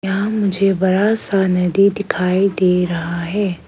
यहां मुझे बड़ा सा नदी दिखाई दे रहा है।